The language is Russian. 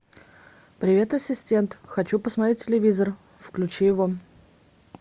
привет ассистент хочу посмотреть телевизор включи его